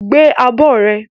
Gbé abọ́ rẹ!